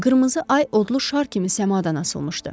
Qırmızı ay odlu şar kimi səmadan asılmışdı.